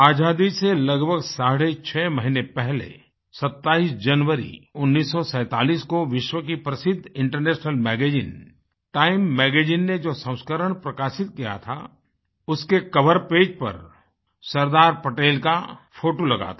आज़ादी से लगभग साढ़े छह महीने पहले27 जनवरी 1947 को विश्व कीप्रसिद्ध इंटरनेशनल मैगज़ीन टाइम मैगज़ीन ने जो संस्करण प्रकाशित किया थाउसके कोवर पेज पर सरदार पटेल का फोटो लगा था